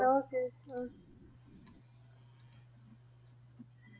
Okay ਹਾਂ,